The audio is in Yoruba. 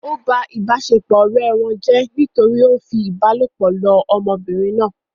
Ó ba ìbáṣepọ̀ ọ̀rẹ́ wọn jẹ́ nítorí ó ń fi ìbálòpọ̀ lọ ọmọbìnrin náà